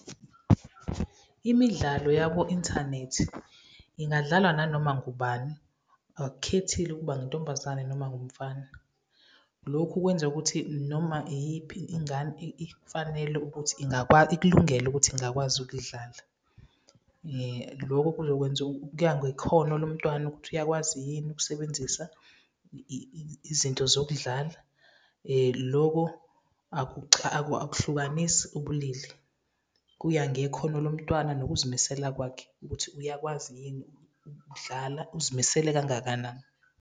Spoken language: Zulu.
Imidlalo yabo inthanethi ingadlalwa nanoma ngubani, akukhethile ukuba ngintombazane noma ngumfana. Lokhu kwenza ukuthi noma iyiphi ingane ifanele ukuthi ingakwazi ukudlala. Loko kuya ngekhono lomntwana ukuthi uyakwazi yini ukusebenzisa izinto zokudlala, loko akuhlukanisi ubulili, kuya ngekhono lomntwana nokuzimisela kwakhe ukuthi uyakwazi yini ukudlala, uzimisele kangakanani.